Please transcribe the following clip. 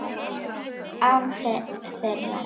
Án þeirra.